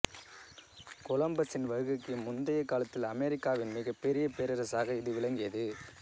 கொலம்பசின் வருகைக்கு முந்தைய காலத்தில் அமெரிக்காவின் மிகப்பெரிய பேரரசாக இது விளங்கியது